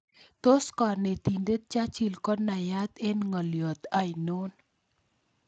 Tos' konetindet Churchill konayat eng' ng'olyot ainon